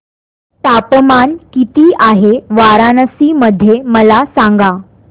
तापमान किती आहे वाराणसी मध्ये मला सांगा